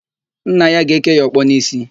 Nna ya ga-èké ya ọkpọ n'ísí.